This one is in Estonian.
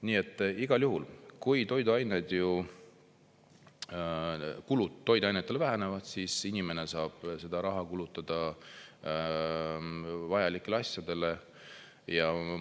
Nii et igal juhul, kui kulud toiduainetele vähenevad, siis inimene saab seda raha kulutada vajalikele asjadele.